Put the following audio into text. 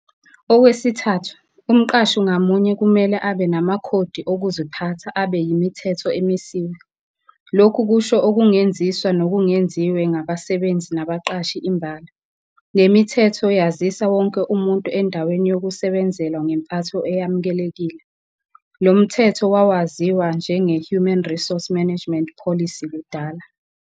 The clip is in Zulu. Okwesithathu, umqashi ngamunye kumele abe namakhodi okuziphatha abe yimithetho emisiwe. Lokhu kusho okungenziswa nokungenziwe ngabasebenzi nabaqashi imbala. Le mithetho yazisa wonke umuntu endaweni yokusebenzela ngempatho eyamukelekile. Lo mthetho wawaziwa njengeHuman Resource Management Policy kudala.